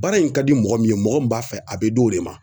Baara in ka di mɔgɔ min ye mɔgɔ min b'a fɛ a be d'o de ma